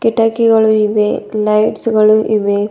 ಕಿಟಕಿಗಳು ಇವೆ ಲೈಟ್ಸ್ ಗಳು ಇವೆ.